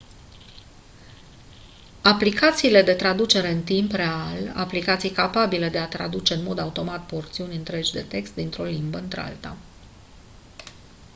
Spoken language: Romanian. aplicațiile de traducere de text în timp real aplicații capabile de a traduce în mod automat porțiuni întregi de text dintr-o limbă în alta